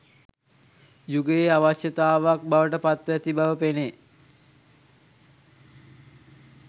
යුගයේ අවශ්‍යතාවක් බවට පත්ව ඇති බව පෙනේ